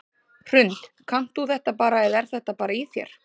Hrund: Kannt þú þetta bara eða er þetta bara í þér?